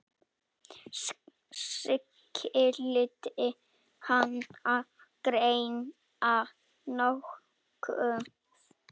Skyldi hana gruna nokkuð?